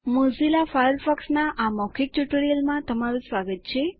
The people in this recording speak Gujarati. મોઝીલા ફાયરફોક્સ ના આ મૌખિક ટ્યુટોરીયલમાં તમારું સ્વાગત છે